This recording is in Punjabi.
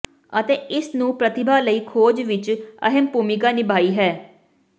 ਅਤੇ ਇਸ ਨੂੰ ਪ੍ਰਤਿਭਾ ਲਈ ਖੋਜ ਵਿੱਚ ਅਹਿਮ ਭੂਮਿਕਾ ਨਿਭਾਈ ਹੈ